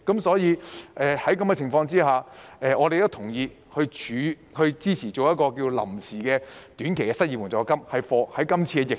所以，在這種情況下，我們都同意及支持成立臨時的短期失業援助金，以應對今次疫情。